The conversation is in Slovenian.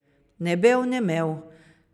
Ne bev ne mev.